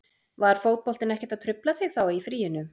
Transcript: Var fótboltinn ekkert að trufla þig þá í fríinu?